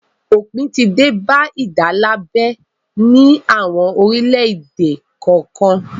Òpin ti dé bá ìdálábẹ ní àwọn orílẹ̀-èdè kọ̀ọ̀kan.